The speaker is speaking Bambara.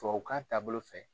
Tubabukan taabolo fɛ.